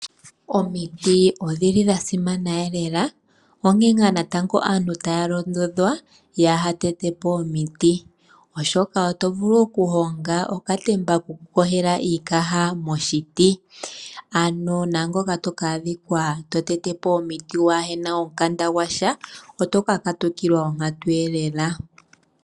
Omiti odhili dha simana onkene aantu otaya londodhwa kaya tetepo omiti oshoka otovulu okuhonga okatemba koku yogela iikaha moshiti ano naangoka toka adhika to tetepo omiti kuna omikanda gwasha oto kakatikilwa onkantu lela